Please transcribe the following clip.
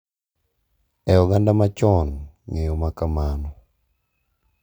E oganda machon, ng’eyo ma kamano .